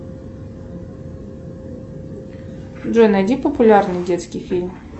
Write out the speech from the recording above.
джой найди популярный детский фильм